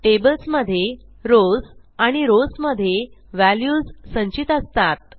tables मधे rows आणि rows मधे व्हॅल्यूज संचित असतात